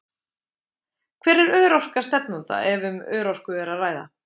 Hver er örorka stefnanda, ef um örorku er að ræða?